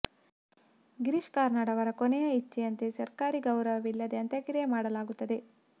ಗಿರೀಶ್ ಕಾರ್ನಾಡ್ ಅವರ ಕೊನೆಯ ಇಚ್ಚೆಯಂತೆ ಸರ್ಕಾರಿ ಗೌರವವಿಲ್ಲದೇ ಅಂತ್ಯಕ್ರಿಯೆ ಮಾಡಲಾಗುತ್ತದೆ